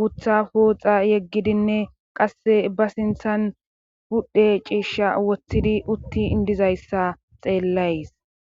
gutha pooxa yeggidinne qasse ba sinthan pudhe ciishsha woththidi utti dizayssa xeellays